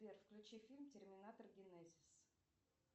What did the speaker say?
сбер включи фильм терминатор генезис